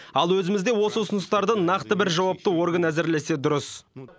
ал өзімізде осы ұсыныстарды нақты бір жауапты орган әзірлесе дұрыс